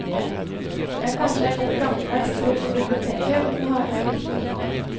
Jeg har kanskje en litt gammeldags tro på biblioteket og den harde skriften.